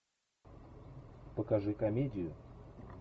покажи комедию